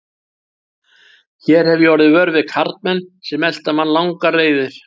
Hér hefi ég orðið vör við karlmenn sem elta mann langar leiðir.